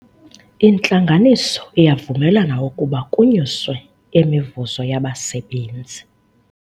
Intlanganiso iyavumelana ukuba kunyuswe imivuzo yabasebenzi.